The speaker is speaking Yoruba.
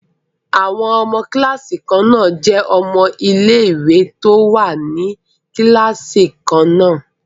Àwọn ọmọ kíláàsì kan náà jẹ́ ọmọ ilé ìwé tó wà ní kíláàsì kan náà